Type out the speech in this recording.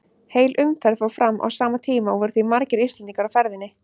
Heil umferð fór fram á sama tíma og voru því margir Íslendingar á ferðinni.